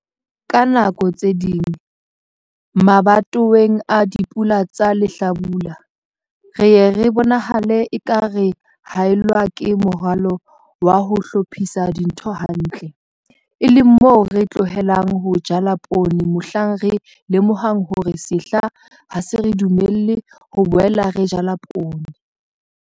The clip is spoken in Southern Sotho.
Ka nako tse ding, mabatoweng a dipula tsa lehlabula, re ye re bonahale eka re haellwa ke moralo wa ho hlophisa dintho hantle, e leng moo re tlohelang ho jala poone mohlang re lemohang hore sehla ha se re dumelle ho boela re jala poone.